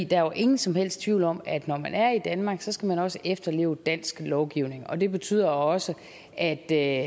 der er jo ingen som helst tvivl om at når man er i danmark så skal man også efterleve dansk lovgivning og det betyder også at der